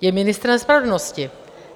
Je ministrem spravedlnosti.